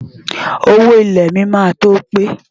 Owó ilẹ̀ mi máa tó pé.